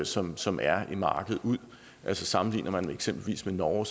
som som er i markedet altså sammenligner man eksempelvis med norge